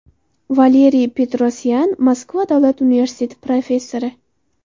Valeriy Petrosyan, Moskva davlat universiteti professori.